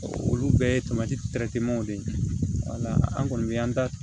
olu bɛɛ ye tomati de ye wala an kɔni bɛ an da